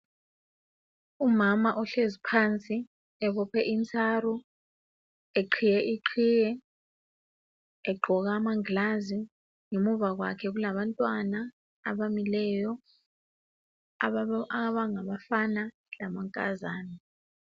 Umama ohlezi phansi ebophe intsaro eqhiye iqhiye egqoke amangilazi ngemuva kwakhe kulabantwana abamileyo abangabafana lamankazana.